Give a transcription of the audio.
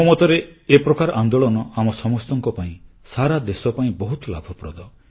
ମୋ ମତରେ ଏ ପ୍ରକାର ଆନ୍ଦୋଳନ ଆମ ସମସ୍ତଙ୍କ ପାଇଁ ସାରା ଦେଶ ପାଇଁ ବହୁତ ଲାଭପ୍ରଦ